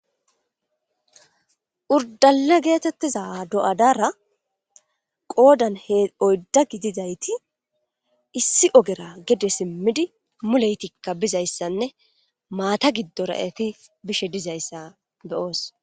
Orddalle geetheththiza do7adara qoodan oydda gidida ethi issi ogera gede simmidi mulethikka bizayssanne maatha giddora ethi bishe dizayssa be7oos.